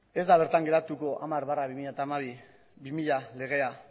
ez da bertan geratuko hamar barra bi mila legea